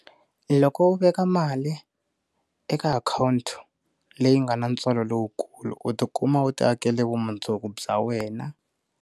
Loko u veka mali eka akhawunti leyi nga na ntswalo lowukulu u ti kuma u ti akele vumundzuku bya wena.